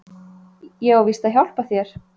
Ég á víst að hjálpa þér.